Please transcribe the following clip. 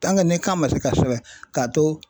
ni kan man se ka sɛbɛn k'a to